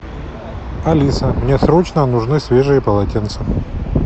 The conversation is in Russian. алиса мне срочно нужны свежие полотенца